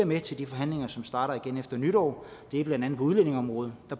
med til de forhandlinger som starter igen efter nytår blandt andet på udlændingeområdet